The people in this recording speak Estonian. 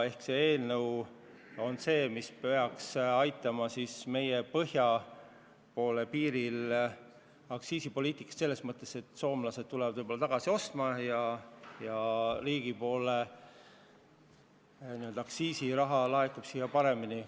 Selle eelnõu kohane aktsiisipoliitika peaks kaasa aitama, et soomlased hakkavad võib-olla jälle meilt alkoholi ostma ja riigile laekub aktsiisiraha paremini.